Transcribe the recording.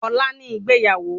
Ọlá ni ìgbéyàwó